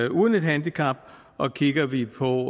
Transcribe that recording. uden et handicap og kigger vi på